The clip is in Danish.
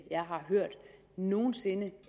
nogen sinde